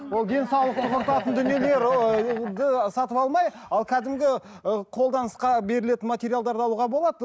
ол денсаулықты құртатын дүниелер сатып алмай ал кәдімгі ы қолданысқа берілетін материалдарды алуға болады